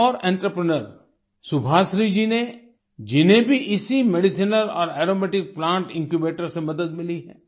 एक और एंटरप्रेन्योर सुभाश्री जी ने जिन्हें भी इसी मेडिसिनल और एरोमेटिक प्लांट्स इन्क्यूबेटर से मदद मिली है